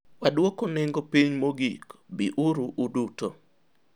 wadwoko nengo piny mogik. biuru uduto